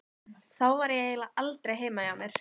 Þá var ég eiginlega aldrei heima hjá mér.